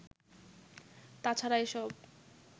তা ছাড়া এসব